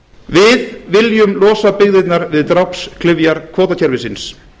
við viljum losa byggðirnar við drápsklyfjar kvótakerfisins